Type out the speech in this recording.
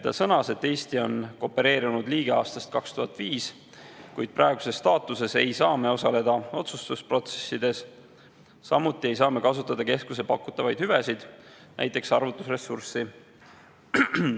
Ta sõnas, et Eesti on koopereerunud liige aastast 2005, kuid praeguses staatuses ei saa me osaleda otsustusprotsessides, samuti ei saa me kasutada keskuse pakutavaid hüvesid, näiteks arvutusressurssi.